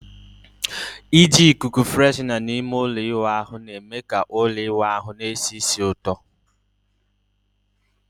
Iji ikuku freshener na ime ụlọ ịwụ ahu na-eme ka ụlọ ịwụ ahụ na-esi ísì ụtọ